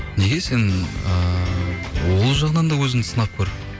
неге сен ыыы ол жағынан да өзіңді сынап көр